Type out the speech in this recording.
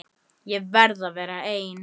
Ég verð að vera ein.